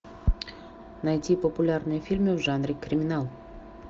найти популярные фильмы в жанре криминал